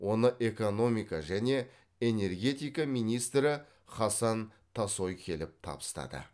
оны экономика және энергетика министрі хасан тасой келіп табыстады